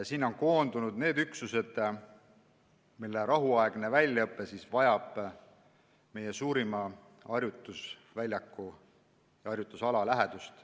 Sinna on koondunud need üksused, mille rahuaegne väljaõpe vajab meie suurima harjutusala lähedust.